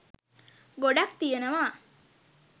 ගොඩක් තියනවා.